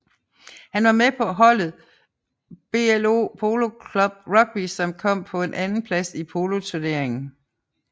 Han var med på holdet BLO Polo Club Rugby som kom på en andenplads i poloturneringen